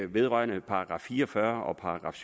vedrører § fire og fyrre og §